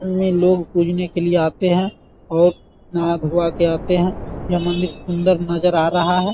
सामने लोग पूजने के लिए आते हैं और नहा-धुआ के आते हैं यह मंदिर सुंदर नजर आ रहा है ।